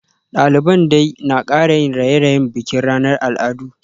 Daliban dai na kara yin raye-rayen bikin ranar al'adu